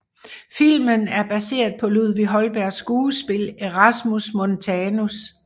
Filmen er baseret på Ludvig Holbergs skuespil Erasmus Montanus